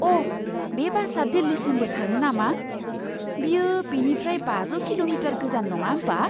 अ'! बे बासआ दिल्लीसिमबो थाङो नामा! बेयो बेनिफ्राय बाजौ किल'मिटार गोजान नङा होमबा?